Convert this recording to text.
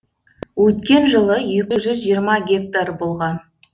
өткен жылы екі жүз жиырма гектар болған